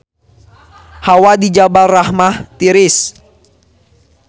Hawa di Jabal Rahmah tiris